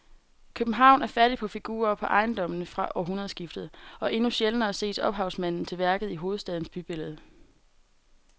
København er fattig på figurer på ejendommene fra århundredskiftet og endnu sjældnere ses ophavsmanden til værket i hovedstadens bybillede.